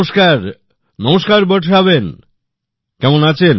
নমস্কার নমস্কার বর্ষা বেন কেমন আছেন